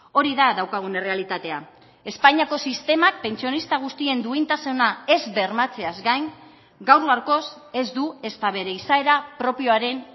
hori da daukagun errealitatea espainiako sistemak pentsionista guztien duintasuna ez bermatzeaz gain gaur gaurkoz ez du ezta bere izaera propioaren